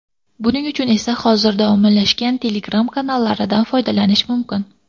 Buning uchun esa hozirda ommalashgan Telegram kanallaridan foydalanish mumkin.